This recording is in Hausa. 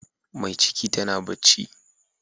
Mai ciki tana bacci.